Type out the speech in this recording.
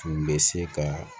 Tun bɛ se ka